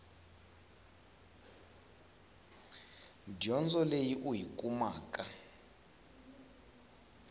dyondzo leyi u yi kumeke